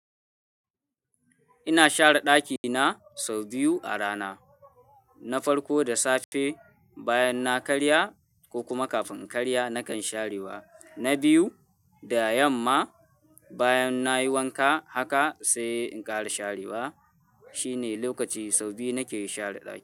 Ina share ɗakina sau biyu a rana. Na farko da safe bayan na karya ko kuma kafin in karya nakan sharewa. Na biyu da yamma bayan nayi wanka haka sai in kara sharewa. Shine lokaci sau biyu nake share ɗaki.